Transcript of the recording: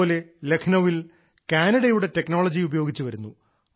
അതുപോലെ ലഖ്നൌവിൽ കാനഡയുടെ ടെക്നോളജി ഉപയോഗിച്ചു വരുന്നു